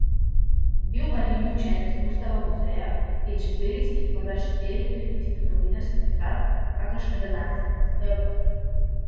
In bil marljivi učenec Gustava Guzeja, ki je četverici, morda šesterici, vtisnil novinarski pečat, kakršnega danes ne tiskajo več.